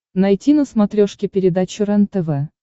найти на смотрешке передачу рентв